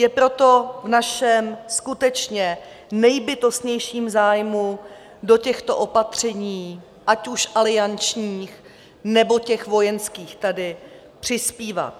Je proto v našem skutečně nejbytostnějším zájmu do těchto opatření, ať už aliančních, nebo těch vojenských, tady přispívat.